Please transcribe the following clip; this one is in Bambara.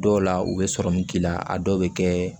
Dɔw la u bɛ sɔrɔ min k'i la a dɔw bɛ kɛ